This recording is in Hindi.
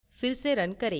फिर से रन करें